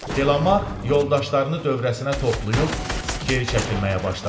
Delamark yoldaşlarını dövrəsinə toplayıb geri çəkilməyə başladı.